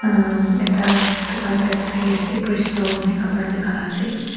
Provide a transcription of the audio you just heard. ekta dukan type tae thakiase crystal kurina kapra bikaila ase.